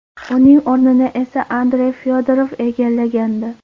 Uning o‘rnini esa Andrey Fyodorov egallagandi .